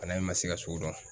Bana in ma se ka sugu dɔn.